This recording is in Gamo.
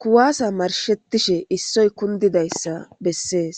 kuwasa marshetishe issoy kundidaysa besses.